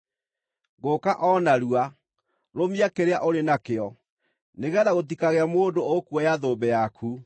Ngũũka o narua. Rũmia kĩrĩa ũrĩ nakĩo, nĩgeetha gũtikagĩe mũndũ ũkuoya thũmbĩ yaku.